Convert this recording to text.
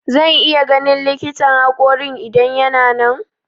Zan iya ganin likitan haƙorin idan yana nan?